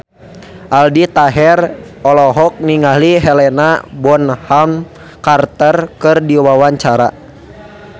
Aldi Taher olohok ningali Helena Bonham Carter keur diwawancara